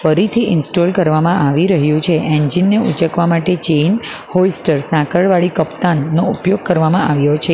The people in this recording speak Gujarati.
ફરીથી ઇન્સ્ટોલ કરવામાં આવી રહ્યું છે એન્જિન ને ઉંચકવા માટે ચેન હોઈસ્ટર સાંકળવાડી કપ્તાન નો ઉપયોગ કરવામાં આવ્યો છે.